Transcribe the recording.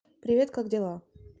привет как дела